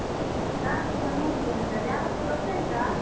ನಾನ್ಸ ಚೆನ್ನಾಗಿದ್ದೇನೆ sir , ಯಾರಂತ ಗೊತ್ತಾಯ್ತಾ?